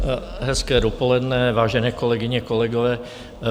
Hezké dopoledne, vážené kolegyně, kolegové.